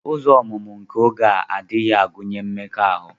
Ụzọ ọmụmụ nke oge a agaghị agụnye mmekọahụ.